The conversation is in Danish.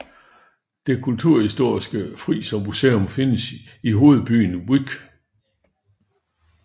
Det kulturhistoriske Frisermuseum findes i hovedbyen Vyk